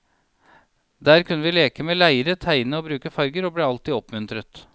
Der kunne vi leke med leire, tegne og bruke farver, og ble alltid oppmuntret.